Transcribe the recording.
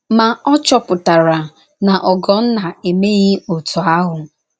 Ma, ọ chọpuṭara na Ogonna emeghị otú ahụ.